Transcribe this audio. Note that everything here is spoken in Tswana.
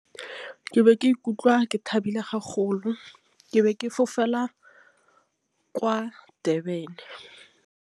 Ke be ke ikutlwa ke thabile , ke be ke fofela kwa Durban.